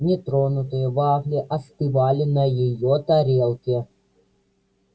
нетронутые вафли остывали на её тарелке